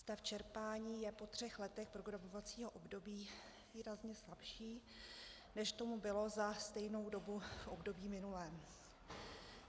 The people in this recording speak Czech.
Stav čerpání je po třech letech programovacího období výrazně slabší, než tomu bylo za stejnou dobu v období minulém.